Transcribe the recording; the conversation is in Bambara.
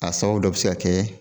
A sababu dɔ be se ka kɛ